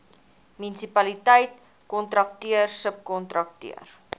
munisipaliteit kontrakteur subkontrakteur